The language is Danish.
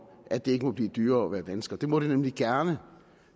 at det ikke må blive dyrere at være dansker det må det nemlig gerne